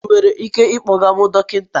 Ị nwere ike ịkpọga m dọkịta?